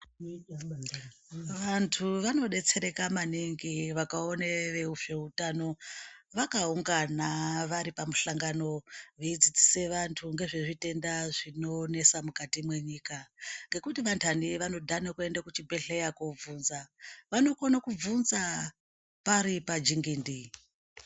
Vantu vanobetsereka maningi vakaona vezveutano vakaungana varipamusangano veidzidzise vantu ngezvezvitenda zvinonetsa mukati mwenyika ngekuti vandani vanodhane kuenda kuzvibhedhlera kunobvunza vanokone kubvunza pari pajengende .